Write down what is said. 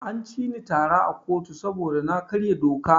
An cini tara a kotu saboda na karya doka.